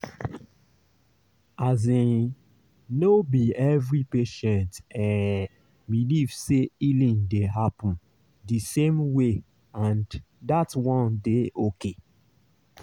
asin no be every patient eh believe say healing dey happen di same way and that one dey okay.